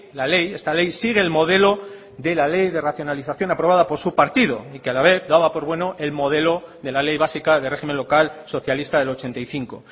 la ley esta ley sigue el modelo de la ley de racionalización aprobada por su partido y que a la vez daba por bueno el modelo de la ley básica de régimen local socialista del ochenta y cinco